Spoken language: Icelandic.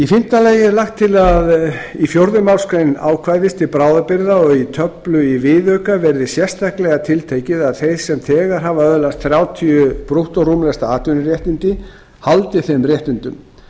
fimmta lagt er til að í fjórðu málsgrein ákvæðis til bráðabirgða og í töflu í viðauka verði sérstaklega tiltekið að þeir sem þegar hafa öðlast þrjátíu brúttórúmlesta atvinnuréttindi haldi þeim réttindum